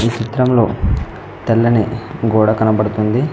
ఈ చిత్రంలో తెల్లని గోడ కనబడుతుంది.